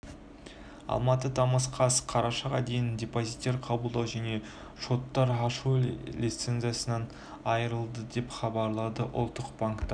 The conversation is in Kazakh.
алматы тамыз қаз қарашаға дейін депозиттер қабылдау және шоттар ашу лицензиясынан айрылды деп хабарлады ұлттық банк